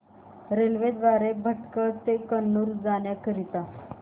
railway द्वारे भटकळ ते कन्नूर जाण्या करीता